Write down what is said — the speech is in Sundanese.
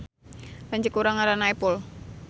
Lanceuk urang ngaranna Epul